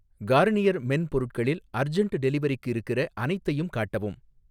Garnier men பொருட்களில் urgent டெலிவரிக்கு இருக்கிற அனைத்தையும் காட்டவும்.